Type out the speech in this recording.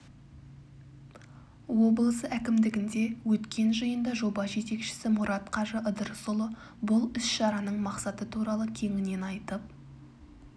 облысы әкімдігінде өткен жиында жоба жетекшісі мұрат қажы ыдырысұлы бұл іс-шараның мақсаты туралы кеңінен айтып